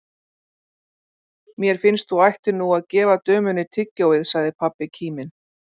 Mér finnst þú ættir nú að gefa dömunni tyggjóið, sagði pabbi kíminn.